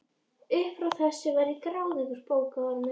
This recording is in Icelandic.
Upp frá þessu var ég gráðugur bókaormur.